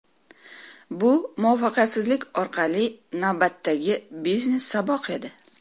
Bu muvaffaqiyatsizlik orqali navbatdagi biznes-saboq edi.